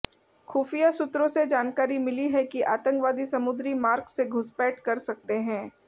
खुफिया सूत्रों से जानकारी मिली है कि आतंकवादी समुद्री मार्ग से घुसपैठ कर सकते हैं